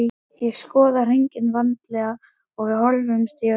Ég skoðaði hringinn vandlega, við horfðumst í augu.